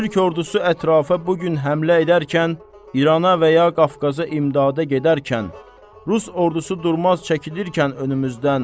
Türk ordusu ətrafa bu gün həmlə edərkən, İrana və ya Qafqaza imdada gedərkən, rus ordusu durmaz çəkilirkən önümüzdən.